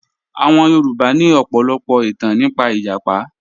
Àwọn Yorùbá ní ọ̀pọ̀lọpọ̀ ìtàn nípa ìjàpá